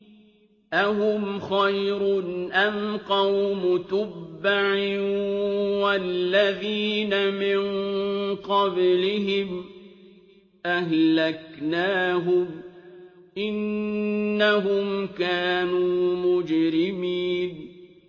أَهُمْ خَيْرٌ أَمْ قَوْمُ تُبَّعٍ وَالَّذِينَ مِن قَبْلِهِمْ ۚ أَهْلَكْنَاهُمْ ۖ إِنَّهُمْ كَانُوا مُجْرِمِينَ